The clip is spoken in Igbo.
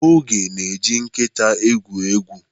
Oge na-eji nkịta egwu egwu.